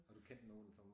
Og du kendte nogen som